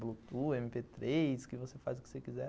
Bluetooth, eme pê três, que você faz o que você quiser.